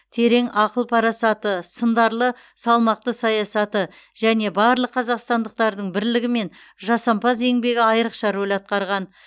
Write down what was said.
терең ақыл парасаты сындарлы салмақты саясаты және барлық қазақстандықтардың бірлігі мен жасампаз еңбегі айрықша рөл атқарған